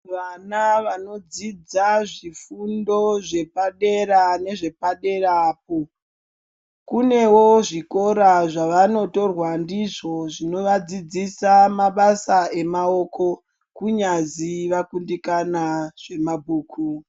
Vana vanodzidza zvifundo zvepadera nezvepadera apo, kunewo zvikora zvevanotorwa ndizvo zvinovadzidzisa mabasa emaoko kunyazi vakundikana zvemabhuku.